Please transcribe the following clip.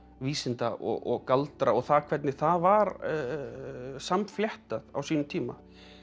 vísinda og galdra og það hvernig það var á sínum tíma